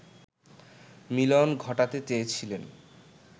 মিলন ঘটাতে চেয়েছিলেন